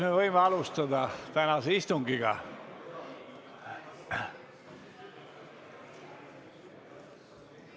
Kas võime alustada tänast istungit?